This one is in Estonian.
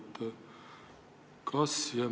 Austatud ettekandja!